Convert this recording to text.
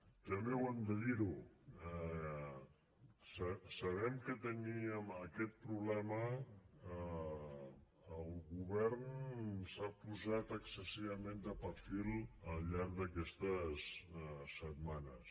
també ho hem de dir sabent que teníem aquest problema el govern s’ha posat excessivament de perfil al llarg d’aquestes setmanes